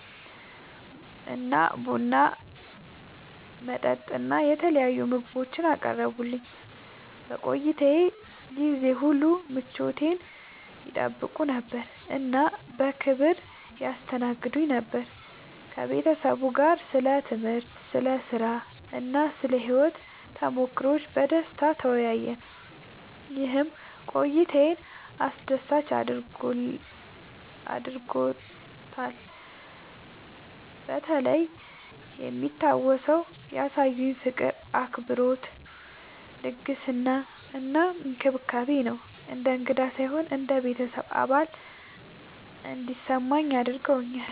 እና ቡና፣ መጠጥ እና የተለያዩ ምግቦችን አቀረቡልኝ። በቆይታዬ ጊዜ ሁሉ ምቾቴን ይጠይቁ ነበር እና በክብር ያስተናግዱኝ ነበር። ከቤተሰቡ ጋር ስለ ትምህርት፣ ስለ ሥራ እና ስለ ሕይወት ተሞክሮዎች በደስታ ተወያየን፣ ይህም ቆይታዬን አስደሳች አድርጎታልበተለይ የሚታወሰው ያሳዩኝ ፍቅር፣ አክብሮት፣ ልግስና እና እንክብካቤ ነው። እንደ እንግዳ ሳይሆን እንደ ቤተሰብ አባል እንዲሰማኝ አድርገውኛል።